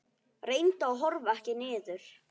Reyndu að horfa ekki niður.